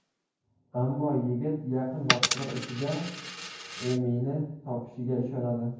Ammo yigit yaqin vaqtlar ichida Emini topishiga ishonadi.